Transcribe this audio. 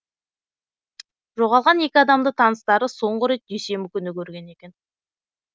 жоғалған екі адамды таныстары соңғы рет дүйсенбі күні көрген екен